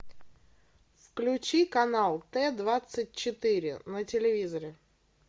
включи канал т двадцать четыре на телевизоре